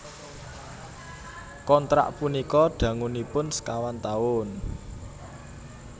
Kontrak punika dangunipun sekawan taun